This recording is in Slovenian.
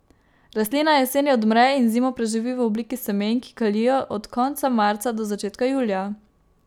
Rastlina jeseni odmre in zimo preživi v obliki semen, ki kalijo od konca marca do začetka julija.